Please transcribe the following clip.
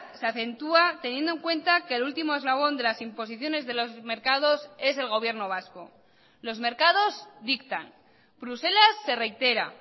se acentúa teniendo en cuenta que el último eslabón de las imposiciones de los mercados es el gobierno vasco los mercados dictan bruselas se reitera